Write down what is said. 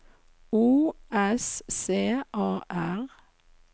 O S C A R